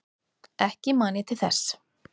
Ekki man ég til þess.